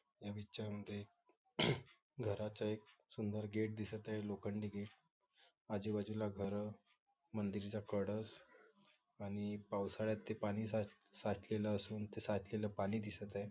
ह्या पिक्चर मध्ये एक घराचा एक सुंदर गेट दिसत आहे लोखंडी गेट आजूबाजूला घर मंदिर चा कळस आणि पावसाळ्यात ते पाणी साचलेलं असून ते साचलेलं पाणी दिसत आहे.